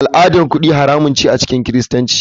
Al'adar kudi haramun ce a cikin kiristanci.